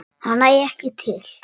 En það nægi ekki til.